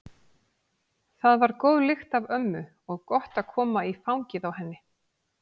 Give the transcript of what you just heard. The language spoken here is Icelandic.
Það var góð lykt af ömmu og gott að koma í fangið á henni.